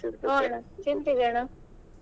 ಹು ಅಣ್ಣ ತಿಂತೀವಿ ಅಣ್ಣ.